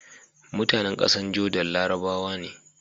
MutAnan ƙasar Jordan larabawa ne